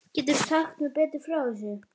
Geturðu sagt mér betur frá þessu?